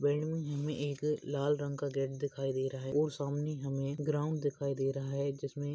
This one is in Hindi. बिल्डिंग मे एक लाल रंग का एक गेट दिखाई दे रहा है और सामने हमे ग्राउंड दिखाई दे रहा हैं जिसमे--